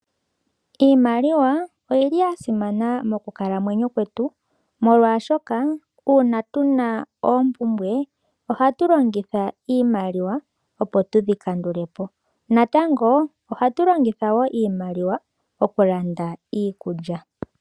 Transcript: Iimaliwa oyi li ya simana mokukalamwenyo kwetu molwashoka uuna tuna oompumbwe oha tu longitha iimaliwa, opo tu dhi kandule po. Natango oha tu longitha wo iimaliwa okulanda iikulya.